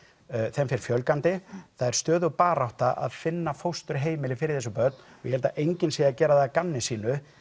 þeim fer fjölgandi það er stöðug barátta að finna fósturheimili fyrir þessi börn og ég held að enginn sé að gera það að gamni sínu